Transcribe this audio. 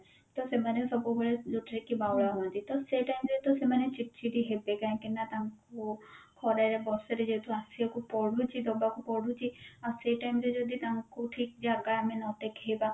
ତ ସେମାନେ ସବୁବେଳେ ଯୋଉଥିରେ କି ବାଉଳା ହୁଅନ୍ତି ତ ସେଇ time ରେ ତ ସେମାନେ ଚିଡଚିଡ ହେବେ କାହିଁକି ନା ତାଙ୍କୁ ଖରରେ ବର୍ଷା ରେ ଯେହେତୁ ଆସିବାକୁ ପଡୁଛି ଦବାକୁ ପଡୁଛି ଆଉ ସେଇ time ରେ ଯଦି ତାଙ୍କୁ ଠିକ ଜାଗା ଆମେ ନ ଦେଖେଇବା